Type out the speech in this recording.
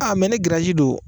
A mɛ ne giriyazi don